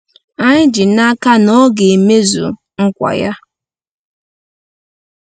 Anyị ji n’aka na ọ ga-emezu nkwa ya.